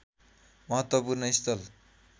महत्त्वपूर्ण स्थल